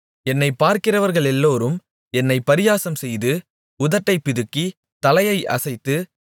என்னைப் பார்க்கிறவர்களெல்லோரும் என்னைப் பரியாசம்செய்து உதட்டைப் பிதுக்கி தலையை அசைத்து